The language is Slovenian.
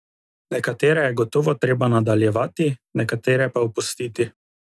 Nekatere je gotovo treba nadaljevati, nekatere pa opustiti.